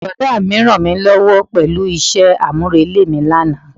Brọ̀dá mi rànmílówó pẹ̀lú isẹ́ àmúrelé mi lánàá.